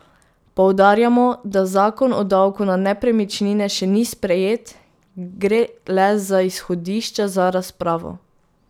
Poudarjamo, da zakon o davku na nepremičnine še ni sprejet, gre le za izhodišča za razpravo.